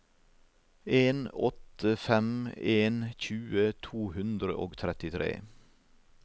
en åtte fem en tjue to hundre og trettitre